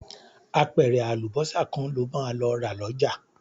Apẹ̀rẹ̀ àlùbọ́sà kan lo máa lọ rà lọ́jà